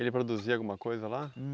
Ele produzia alguma coisa lá?